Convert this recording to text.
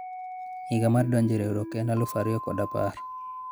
higa mar donjo e riwruok en alufu ariyo kod apar